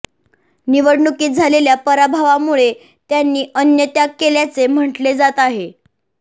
निवडणुकीत झालेल्या पराभवामुळे त्यांनी अन्नत्याग केल्याचे म्हटले जात आहे